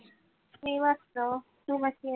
मी मस्त. तु कशी आहे?